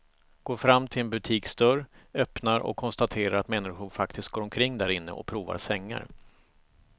Går fram till en butiksdörr, öppnar och konstaterar att människor faktiskt går omkring därinne och provar sängar.